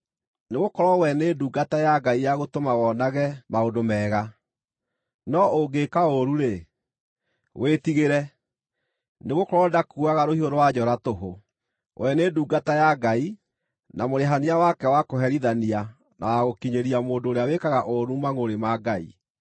Nĩgũkorwo we nĩ ndungata ya Ngai ya gũtũma wonage maũndũ mega. No ũngĩka ũũru-rĩ, wĩtigĩre, nĩgũkorwo ndakuuaga rũhiũ rwa njora tũhũ. We nĩ ndungata ya Ngai, na mũrĩhania wake wa kũherithania na wa gũkinyĩria mũndũ ũrĩa wĩkaga ũũru mangʼũrĩ ma Ngai.